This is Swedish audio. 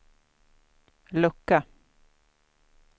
lucka